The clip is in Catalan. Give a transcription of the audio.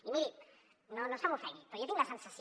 i miri no se m’ofengui però jo tinc la sensació